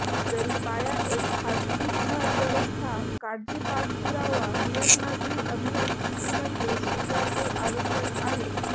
जरी पाया एक खाजगी घर व्यवस्था काळजी पाठपुरावा नियम नागरी अभियांत्रिकी मध्ये स्वीकारले आवश्यक आहे